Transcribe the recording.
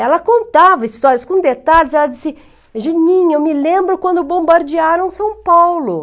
Ela contava histórias com detalhes, ela disse, me lembro quando bombardearam São Paulo.